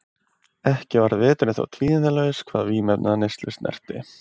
Ekki varð veturinn þó tíðindalaus hvað vímuefnaneyslu snerti.